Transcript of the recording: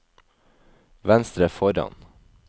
venstre foran